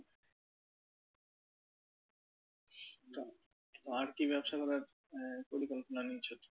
তো আর কি ব্যবসা করার আহ পরিকল্পনা রয়েছে?